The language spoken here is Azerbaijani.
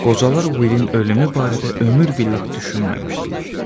Qocalar Willin ölümü barədə ömür billah düşünməmişdilər.